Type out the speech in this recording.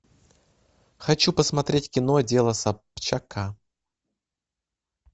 хочу посмотреть кино дело собчака